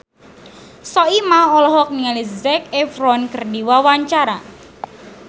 Soimah olohok ningali Zac Efron keur diwawancara